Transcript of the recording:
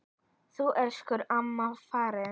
Nú er elsku amma farin.